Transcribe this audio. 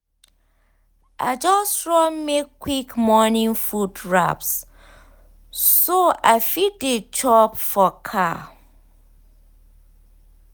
i just run make quick morning food wraps so i fit dey chop for car.